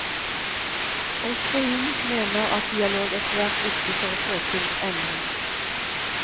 Også hun mener at dialog er svært viktig for å få til endring.